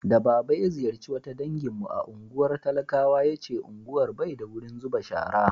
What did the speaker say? da baba ya ziyarce wata dangin mu a unguwar talakawa ya ce unguwar Bai da wurin zuba shara